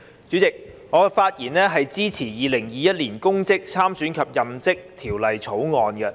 主席，我發言支持《2021年公職條例草案》。